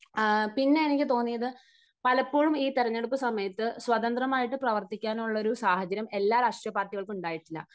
പിന്നെ എനിക്ക് തോന്നിയത് പലപ്പോഴും ഈ തെരഞ്ഞെടുപ്പ് സമയത്ത് സ്വതന്ത്രമായി പ്രവർത്തിക്കാനുള്ള ഒരു സാഹചര്യം എല്ലാ രാഷ്ട്രീയപാർട്ടികൾക്കും ഉണ്ടായിട്ടില്ല